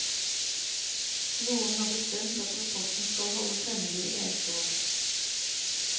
Noen har bestemt at rapporten skal holdes hemmelig i ett år.